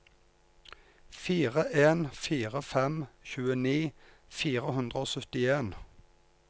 fire en fire fem tjueni fire hundre og syttien